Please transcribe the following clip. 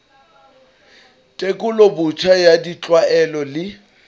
tekolo botjha ya ditlwaelo le